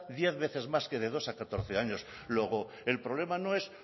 diez veces más que de dos a catorce años luego el problema no es